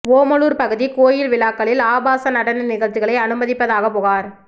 ஓமலூர் பகுதி கோயில் விழாக்களில் ஆபாச நடன நிகழ்ச்சிகளை அனுமதிப்பதாக புகார்